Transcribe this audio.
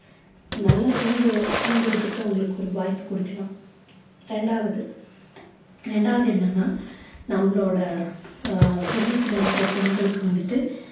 நல்லா தூங்க~ தூங்குறதுக்கு அவங்களுக்கு ஒரு வாய்ப்பு குடுக்கலாம் ரெண்டாவது ரெண்டாவது என்னன்னா நம்மளோட அஹ் குடும்பத்தில இருக்கிற பெண்களுக்கு வந்துட்டு